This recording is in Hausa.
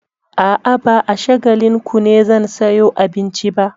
A'a, ba a Shagalinku ne zan sayo abincin ba.